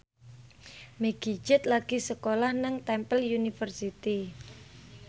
Meggie Z lagi sekolah nang Temple University